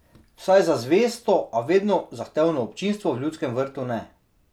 Vsaj za zvesto, a vedno zahtevno občinstvo v Ljudskem vrtu ne.